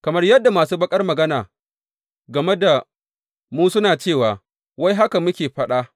Kamar yadda masu baƙar magana game da mu suna cewa wai haka muke faɗa.